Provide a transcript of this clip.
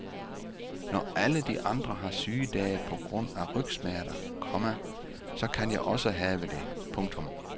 Når alle de andre har sygedage på grund af rygsmerter, komma så kan jeg også have det. punktum